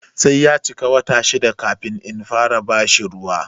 Sai ya cika wata shida kafin in fara bashi ruwa.